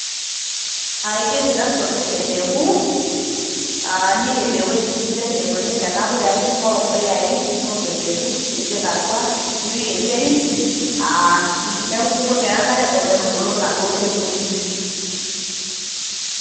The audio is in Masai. Ajoki tasotu empeku, niirem ewuji sidai naitonie Nena puyai, neing'oru empuyai, neing'oru empeku nipik atwa nipik enterit neeku ebukoki enk'are metubulu naaduo pekui.